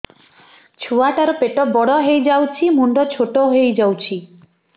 ଛୁଆ ଟା ର ପେଟ ବଡ ହେଇଯାଉଛି ମୁଣ୍ଡ ଛୋଟ ହେଇଯାଉଛି